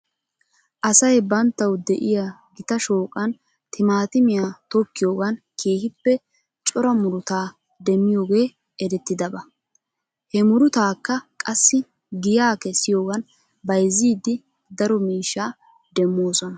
Asay banttaw de'iyaa gita shooqan timaatimiya tokkiyoogan keehippe cora murutaa demmiyooge erettidaba. He murutaakka qassi giyaa kessiyoogan bayzzidi daro miishsha demmoosona.